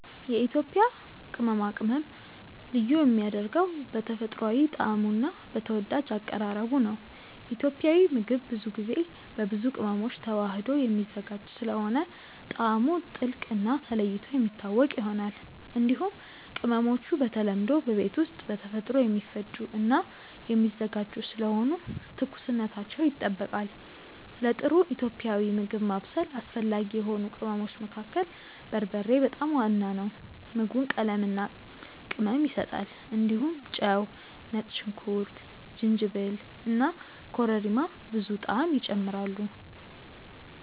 የኢትዮጵያ ቅመማ ቅመም ልዩ የሚያደርገው በተፈጥሯዊ ጣዕሙ እና በተወዳጅ አቀራረቡ ነው። ኢትዮጵያዊ ምግብ ብዙ ጊዜ በብዙ ቅመሞች ተዋህዶ የሚዘጋጅ ስለሆነ ጣዕሙ ጥልቅ እና ተለይቶ የሚታወቅ ይሆናል። እንዲሁም ቅመሞቹ በተለምዶ በቤት ውስጥ በተፈጥሮ የሚፈጩ እና የሚዘጋጁ ስለሆኑ ትኩስነታቸው ይጠበቃል። ለጥሩ ኢትዮጵያዊ ምግብ ማብሰል አስፈላጊ የሆኑ ቅመሞች መካከል በርበሬ በጣም ዋና ነው። ምግቡን ቀለምና ቅመም ይሰጣል። እንዲሁም ጨው፣ ነጭ ሽንኩርት፣ ጅንጅብል እና ኮረሪማ ብዙ ጣዕም ይጨምራሉ።